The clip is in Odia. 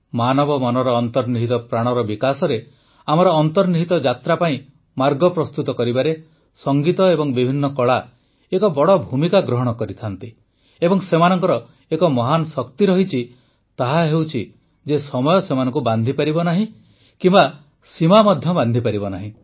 ମାନବ ମନର ଅନ୍ତର୍ନିହିତ ପ୍ରାଣର ବିକାଶରେ ଆମର ଅନ୍ତର୍ନିହିତ ଯାତ୍ରା ପାଇଁ ମାର୍ଗ ପ୍ରସ୍ତୁତ କରିବାରେ ସଙ୍ଗୀତ ଏବଂ ବିଭିନ୍ନ କଳା ଏକ ବଡ଼ ଭୂମିକା ଗ୍ରହଣ କରେ ଏବଂ ସେମାନଙ୍କର ଏକ ମହାନ୍ ଶକ୍ତି ଅଛି ତାହା ହେଉଛି ଯେ ସମୟ ସେମାନଙ୍କୁ ବାନ୍ଧିପାରିବ ନାହିଁ କିମ୍ବା ସୀମା ମଧ୍ୟ ବାନ୍ଧିପାରିବ ନାହିଁ